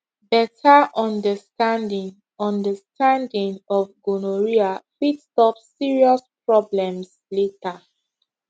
better understanding understanding of gonorrhea fit stop serious problems later